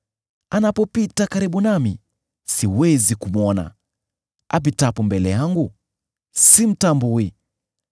Anapopita karibu nami, siwezi kumwona; apitapo mbele yangu, simtambui.